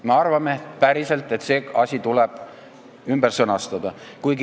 Me arvame päriselt, et see asi tuleb ümber sõnastada.